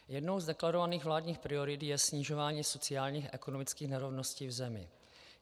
Jednou z deklarovaných vládních priorit je snižování sociálních a ekonomických nerovnosti v zemi.